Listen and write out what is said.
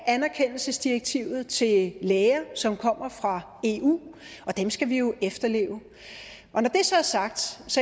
anerkendelsesdirektivet til læger som kommer fra eu og dem skal vi jo efterleve når det så er sagt